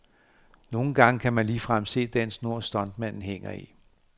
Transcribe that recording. Nogen gange kan man ligefrem se den snor stuntmanden hænger i.